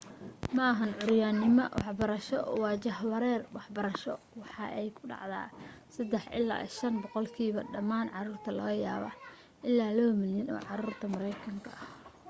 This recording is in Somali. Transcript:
maahan cuuryanimo waxbarasho waa jahwareer waxbarasho waxa ay ku dhacdaa 3 ilaa 5 boqolkiiba dhammaan caruurta laga yaaba ilaa 2 milyan oo caruurta mareykanka